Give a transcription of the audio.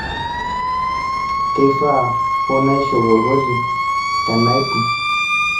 keifaa hoo naishop olkoti tenaipung'